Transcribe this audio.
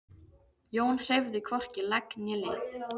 Jón hreyfði hvorki legg né lið.